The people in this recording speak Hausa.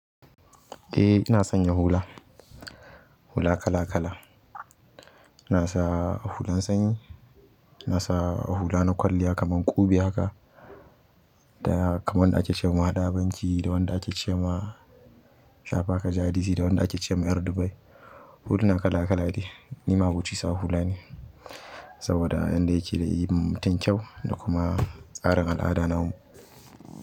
Eh ina sanya hula, hula kala kala. Ina sa hulan sanyi, ina sa hula na kwalliya kaman ƙube haka, da kamar wanda ake ce wa mahadabanci, da wanda ake ce wa labaka jaridce, da wanda ake ce wa ƴar Dubai. Huluna kala kala ne, ni ma aboci sa hula ne saboda yadda yake da yinma mutum kyau da kuma tsarin al'ada na mu.